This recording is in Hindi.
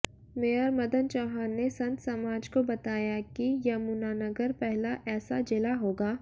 मेयर मदन चौहान ने संत समाज को बताया कि यमुनानगर पहला ऐसा जिला होगा